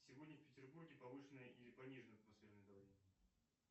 сегодня в петербурге повышенное или пониженное атмосферное давление